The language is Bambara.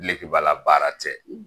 Dilegibala baara tɛ